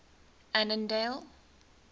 annandale